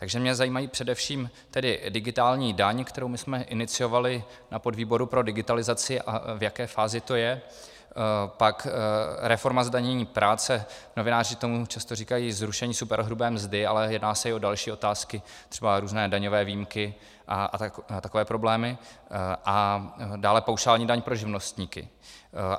Takže mě zajímají především tedy digitální daň, kterou my jsme iniciovali na podvýboru pro digitalizaci, a v jaké fázi to je, pak reforma zdanění práce, novináři tomu často říkají zrušení superhrubé mzdy, ale jedná se i o další otázky, třeba různé daňové výjimky a takové problémy, a dále paušální daň pro živnostníky.